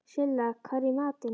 Silla, hvað er í matinn?